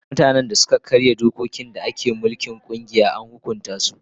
Mutanen da suka karya dokokin da ke mulkin kungiya an hukunta su.